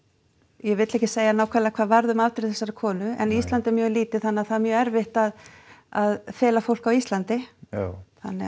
ég vil ekki segja nákvæmlega hvað varð um afdrif þessarar konu en Ísland er mjög lítið þannig að það er mjög erfitt að að fela fólk á Íslandi þannig að